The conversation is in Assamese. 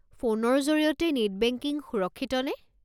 ফোনৰ জৰিয়তে নেট বেংকিং সুৰক্ষিতনে?